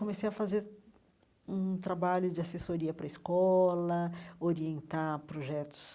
Comecei a fazer um trabalho de assessoria para escola, orientar projetos